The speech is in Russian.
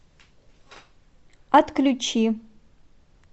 отключи